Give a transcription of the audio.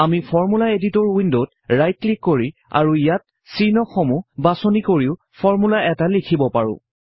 আমি formula editor উইন্ডত right click কৰি আৰু ইয়াত চিহ্ন সমূহ বাছনি কৰিও ফৰ্মূলা এটা লিখিব পাৰোঁ